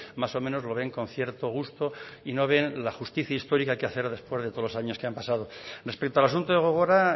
más o menos lo ven con cierto gusto y no ven la justicia histórica que hacer después de todos los años que han pasado respecto al asunto de gogora